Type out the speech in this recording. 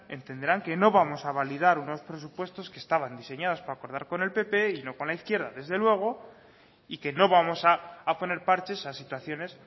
entenderán que no vamos a validar unos presupuestos que estaban diseñados para acordar con el pp y no con la izquierda desde luego y que no vamos a poner parches a situaciones